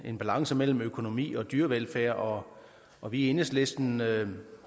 en balance mellem økonomi og dyrevelfærd og og vi i enhedslisten